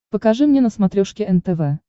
покажи мне на смотрешке нтв